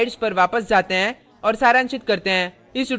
अब अपनी slides पर वापस जाते हैं और सारांशित करते हैं